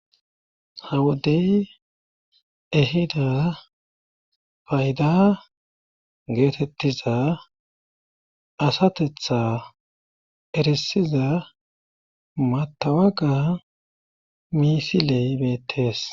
A wodey ehida payda geetettiza asatetha erisiza matawaga miisiley beettees